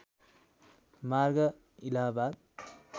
मार्ग इलाहाबाद